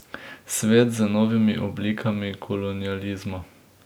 Svet z novimi oblikami kolonializma.